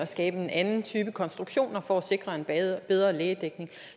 skabe en anden type konstruktion for at sikre en bedre lægedækning